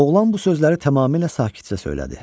Oğlan bu sözləri tamamilə sakitcə söylədi.